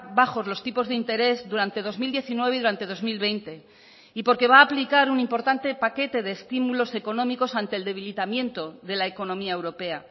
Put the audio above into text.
bajos los tipos de interés durante dos mil diecinueve y durante dos mil veinte y porque va a aplicar un importante paquete de estímulos económicos ante el debilitamiento de la economía europea